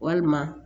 Walima